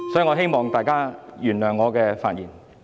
我希望大家原諒我的發言。